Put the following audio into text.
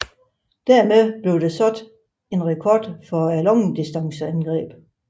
Dermed blev der sat en rekord for langdistanceangreb